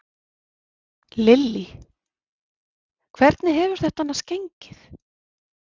Lillý: Hvernig hefur þetta annars gengið?